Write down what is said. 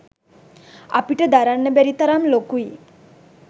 අපිට දරන්න බැරි තරම් ලොකුයි.